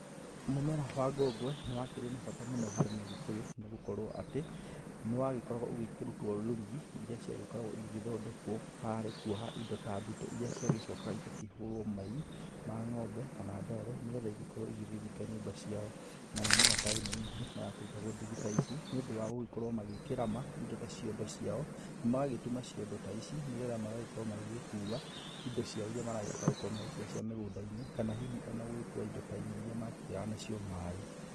Mũmera wa ngongwe nĩ wakĩrĩ na bata mũno harĩ mũgĩkũyũ nĩ gũkorwo atĩ nĩ wagĩkoragwo ũgĩkĩrutwo rũrigi ĩrĩa ciagĩkoragwo igĩthondekwo harĩ kuoha indo ta mbito iria ciagĩcokaga igakĩhũrwo mai ma ng'ombe kana ndoro nĩgetha igĩkorwo igĩthinga nyũmba ciao, na mĩmera ta ĩno ningĩ no yakĩrutagwo ndigi ta ici nĩũndũ wa gũkorwo magĩkĩrama indo ta ciondo ciao, magagĩtuma ciondo ta ici nĩgetha magagĩkorwo magĩgĩkua indo ciao iria maragĩbatara gũkorwo magĩkua cia mĩgũnda-inĩ kana hihi o na gũgĩkua indo ta inya iria makĩgĩraga nacio maĩ.